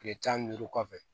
Kile tan ni duuru kɔfɛ